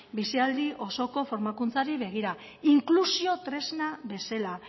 bizialdi osoko formakuntzari begira inklusio tresna bezala